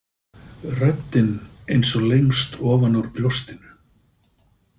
Röddin eins og lengst ofan úr brjóstinu.